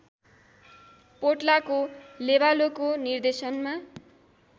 पोट्लाको लेबालोको निर्देशनमा